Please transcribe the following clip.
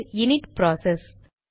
இது init process